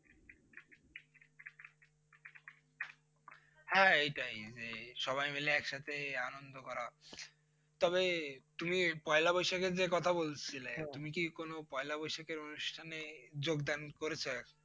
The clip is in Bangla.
হ্যাঁ এটাই যে সবাই মিলে একসাথে আনন্দ করা তবে তুমি পয়লা বৈশাখের যে কথা বলছিলে কি কোনো পয়লা বৈশাখের অনুষ্ঠানে যোগদান করেছো?